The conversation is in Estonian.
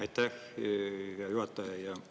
Aitäh, hea juhataja!